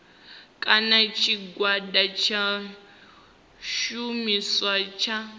kana tshigwada tsha tshumisano tsha